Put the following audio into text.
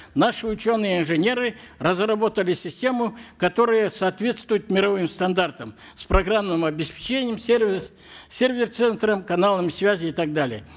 наши ученые инженеры разработали систему которая соответствует мировым стандартам с программным обеспечением сервис сервер центром каналами связи и так далее